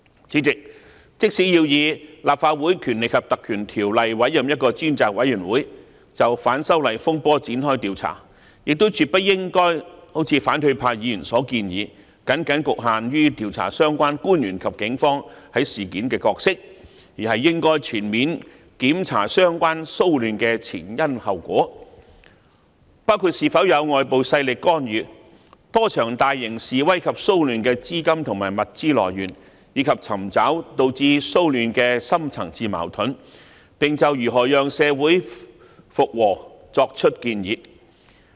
主席，即使要根據《立法會條例》委任專責委員會就反修例風波展開調查，亦絕不應如反對派議員所建議，僅局限於調查相關官員及警方在事件的角色，而應全面調查相關騷亂的前因後果，包括是否有外部勢力干預、多場大型示威及騷亂的資金和物資來源，以及尋找導致騷亂的深層次矛盾，並就如何讓社會回復平和作出建議。